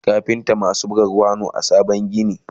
akwai kafinta maasu buga kwano a saman gini